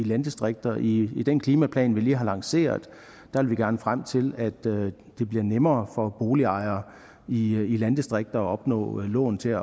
landdistrikterne i i den klimaplan vi lige har lanceret vil vi gerne frem til at det bliver nemmere for boligejere i landdistrikter at opnå lån til